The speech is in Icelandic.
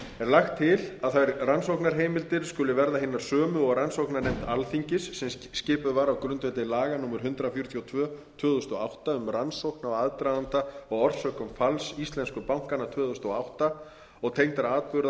lagt til að þær rannsóknarheimildir skuli verða hinar sömu og rannsóknarnefnd alþingis sem skipuð var á grundvelli laga númer hundrað fjörutíu og tvö tvö þúsund og átta um rannsókn á aðdraganda og orsökum falls íslensku bankanna tvö þúsund og átta og tengdra atburða